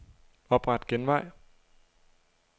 Opret genvej.